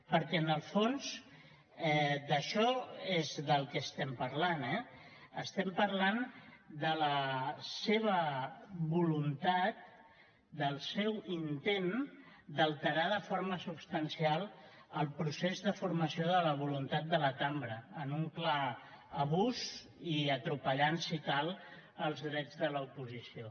perquè en el fons d’això és del que estem parlant eh estem parlant de la seva voluntat del seu intent d’alterar de forma substancial el procés de formació de la voluntat de la cambra en un clar abús i atropellant si cal els drets de l’oposició